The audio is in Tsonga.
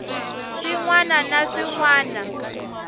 swin wana na swin wana